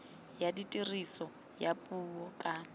ya tiriso ya puo ka